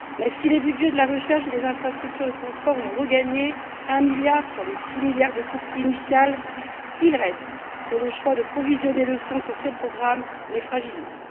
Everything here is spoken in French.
Si les budgets de la recherche et des infrastructures de transport ont regagné 1 milliard sur les 6 milliards de coupe initiale, il reste que le choix de provisionner le Fonds sur ces programmes les fragilise.